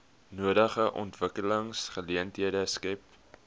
nodige ontwikkelingsgeleenthede skep